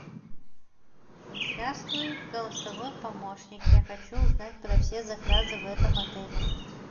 здравствуй голосовой помощник я хочу узнать про все заказы в этом отеле